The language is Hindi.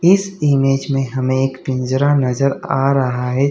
इस इमेज में हमे एक पिंजरा नजर आ रहा है।